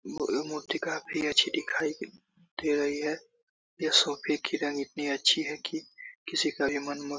मोहे मोठीका भी अच्छी दिखाई दे रही है। यह सोफे की रंग इतनी अच्छी है की किसी का का भी मन--